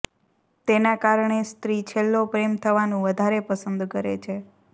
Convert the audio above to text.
તેના કારણે સ્ત્રી છેલ્લો પ્રેમ થવાનું વધારે પસંદ કરે છે